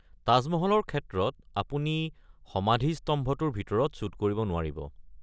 তাজ মহলৰ ক্ষেত্ৰত আপুনি সমাধিস্তম্ভটোৰ ভিতৰত শ্বুট কৰিব নোৱাৰিব।